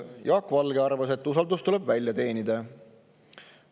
Jaak Valge arvas, et usaldus tuleb välja teenida.